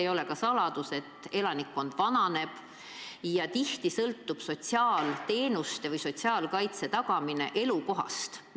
Ei ole saladus ka see, et elanikkond vananeb ja tihti sõltub sotsiaalteenuste või sotsiaalkaitse tagamine elukohast.